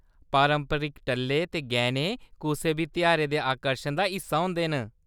पारंपरिक टल्ले ते गैह्‌‌‌ने कुसै बी तेहारै दे आकर्शन दा हिस्सा होंदे न।